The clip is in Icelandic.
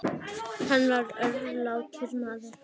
Hann var örlátur maður.